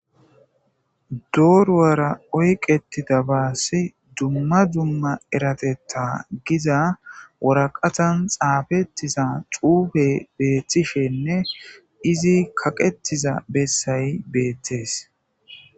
Dorara oyqetidabassi dumma dumma eratetha gizza waraqatan xafetidanne xuufey betishenne izzi kaqetizza bessay bettes.